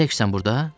Təksən burda?